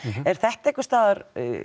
er þetta einhvers staðar